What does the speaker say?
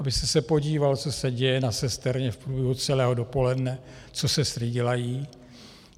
Abyste se podíval, co se děje na sesterně v průběhu celého dopoledne, co sestry dělají.